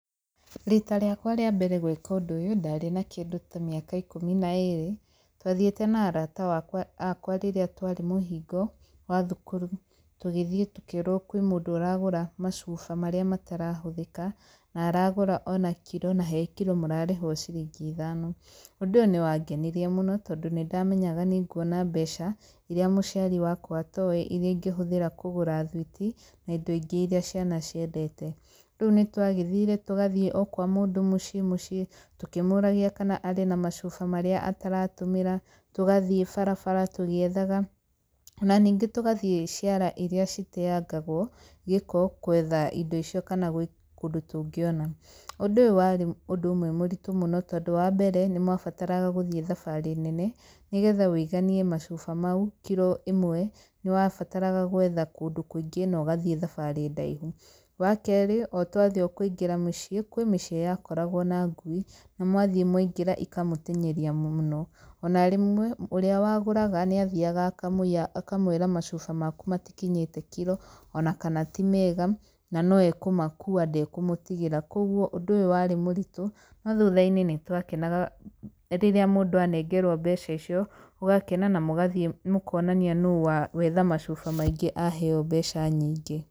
Rita rĩakwa rĩa mbere gwĩka ũndũ ũyũ, ndarĩ na kĩndũ ta mĩaka ikũmi na ĩrĩ, twathiĩte na arata wakwa akwa rĩrĩa twarĩ mũhingo wa thukuru tũgĩthiĩ tũkĩrwo kwĩ mũndũ ũragũra macuba marĩa matarahũthĩka, na aragũra o na kiro, na he kiro mũrarĩhwo ciringi ithano. Ũndũ ũyũ nĩ wangenirie mũno, tondũ nĩ ndamenyaga nĩ nguona mbeca irĩa mũciari wakwa atowĩ, irĩa ingĩhũthĩra kũgũra thwiti na indo ingĩ irĩa ciana ciendete. Rĩu nĩ twagĩthire, tũgathiĩ o kwa mũndũ mũciĩ mũciĩ, tũkĩmũragia kana arĩ na macuba marĩa ataratũmĩra, tũgathiĩ barabara tũgĩethaga, ona ningĩ tũgathiĩ ciara irĩa citeangagwo gĩko gwetha indo icio kana gwĩ kũndũ tũngĩona. Ũndũ ũyũ warĩ ũndũ ũmwe mũritũ mũno, tondũ wa mbere nĩ mwabataraga gũthiĩ thabarĩ nene, nĩgetha wĩiganie macuba mau kiro ĩmwe, nĩ wabataraga gwetha kũndũ kũingĩ na ũgathiĩ thabarĩ ndaihu. Wa kerĩ o twathiĩ o kũingĩra mũciĩ, kwĩ mĩciĩ yakoragwo na ngui, na mwathiĩ mwaingĩra ikamũtenyeria mũno. Ona rĩmwe, ũrĩa wagũraga nĩ athiaga akamũiya akamwĩra macuba maku matikinyĩte kiro ona kana ti mega, na no ekũmakuua ndekũmũtigĩra. Koguo ũndũ ũyũ warĩ mũritũ, no thutha-inĩ nĩ twakenaga rĩrĩa mũndũ anengerwo mbeca icio, ũgakena na mũgathiĩ mũkonania no wetha macuba maingĩ aheyo mbeca nyingĩ.